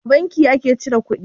A banki ka cire kuɗi?